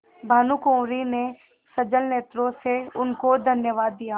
भानुकुँवरि ने सजल नेत्रों से उनको धन्यवाद दिया